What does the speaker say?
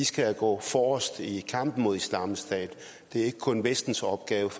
skal gå forrest i kampen mod islamisk stat det er ikke kun vestens opgave